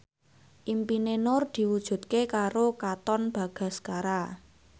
impine Nur diwujudke karo Katon Bagaskara